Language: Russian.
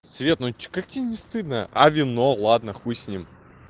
свет ну что как тебе не стыдно а вино ладно хуй с ним